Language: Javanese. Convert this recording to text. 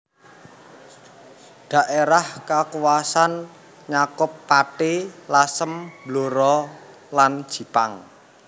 Dhaérah kakuwasan nyakup Pati Lasem Blora lan Jipang